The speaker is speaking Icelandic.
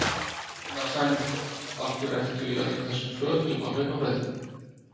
Sunna Sæmundsdóttir: Af hverju ertu í öllum þessum fötum á hlaupabrettinu?